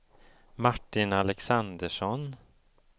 Martin Alexandersson